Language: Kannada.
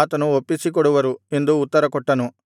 ಆತನು ಒಪ್ಪಿಸಿಕೊಡುವರು ಎಂದು ಉತ್ತರಕೊಟ್ಟನು